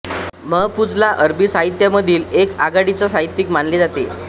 महफूझला अरबी साहित्यामधील एक आघाडीचा साहित्यिक मानले जाते